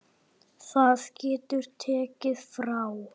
Það getur tekið frá